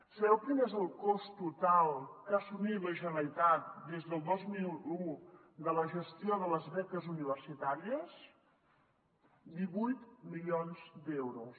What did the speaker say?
sabeu quin és el cost total que ha assumit la generalitat des del dos mil un de la gestió de les beques universitàries divuit milions d’euros